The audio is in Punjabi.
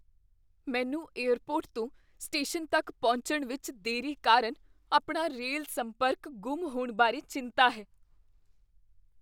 ਮੈਨੂੰ ਏਅਰਪੋਰਟ ਤੋਂ ਸਟੇਸ਼ਨ ਤੱਕ ਪਹੁੰਚਣ ਵਿੱਚ ਦੇਰੀ ਕਾਰਨ ਆਪਣਾ ਰੇਲ ਸੰਪਰਕ ਗੁੰਮ ਹੋਣ ਬਾਰੇ ਚਿੰਤਾ ਹੈ।